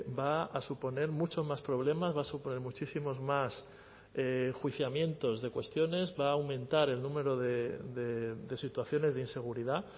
va a suponer mucho más problemas va a suponer muchísimos más enjuiciamientos de cuestiones va a aumentar el número de situaciones de inseguridad